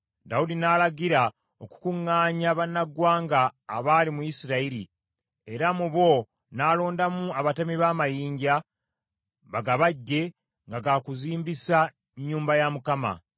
Dawudi n’alagira okukuŋŋaanya bannaggwanga abaali mu Isirayiri, era mu bo n’alondamu abatemi b’amayinja, bagabajje nga kuzimbisa nnyumba ya Mukama .